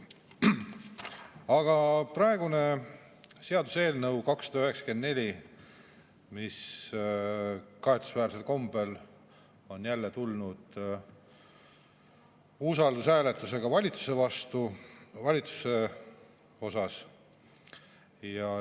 Aga praegu seaduseelnõu 294, mis kahetsusväärsel kombel on jälle tulnud usaldushääletusega valitsuse vastu.